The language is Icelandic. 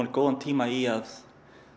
góðan tíma í að